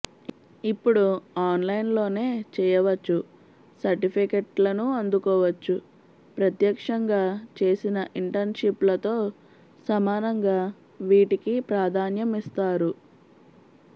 ఇప్పుడు ఆన్లైన్లోనే చేయవచ్ఛు సర్టిఫికెట్లనూ అందుకోవచ్ఛు ప్రత్యక్షంగా చేసిన ఇంటర్న్షిప్లతో సమానంగా వీటికీ ప్రాధాన్యం ఇస్తారు